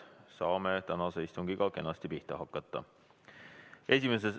Saame tänase istungiga kenasti pihta hakata.